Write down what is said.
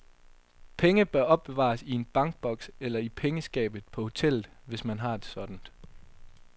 Penge bør opbevares i en bankboks eller i pengeskabet på hotellet, hvis man har et sådant.